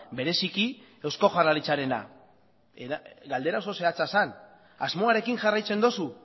bereziki eusko jaurlaritzarena galdera oso zehatza zen asmoarekin jarraitzen duzu